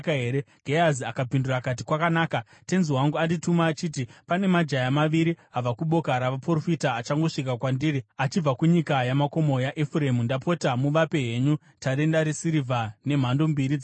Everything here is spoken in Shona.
Gehazi akapindura akati, “Kwakanaka. Tenzi wangu andituma achiti, ‘Pane majaya maviri abva kuboka ravaprofita achangosvika kwandiri achibva kunyika yamakomo yaEfuremu. Ndapota, muvape henyu tarenda resirivha nemhando mbiri dzenguo.’ ”